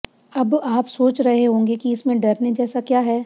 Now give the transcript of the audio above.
अब आप सोच रहे होंगे कि इसमें डरने जैसा क्या है